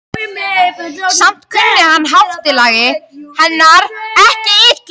Samt kunni hann háttalagi hennar ekki illa.